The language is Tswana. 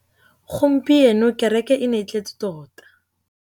Gompieno kêrêkê e ne e tletse tota.